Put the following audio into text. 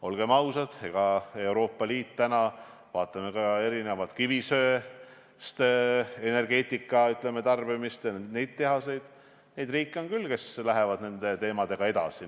Olgem ausad, kui vaatame täna erinevate Euroopa Liidu riikide kivisöeenergia tarbimist ja neid tehaseid, siis näeme, et selliseid riike on küll, kes nende teemadega edasi lähevad.